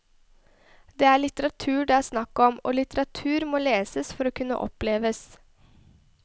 Det er litteratur det er snakk om, og litteratur må leses for å kunne oppleves.